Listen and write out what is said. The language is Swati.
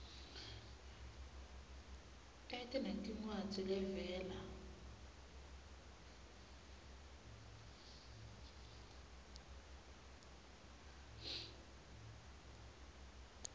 ete nencwadzi levela